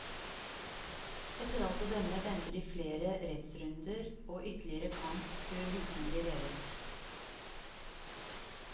Etter alt å dømme venter det flere rettsrunder og ytterligere kamp før husene blir revet.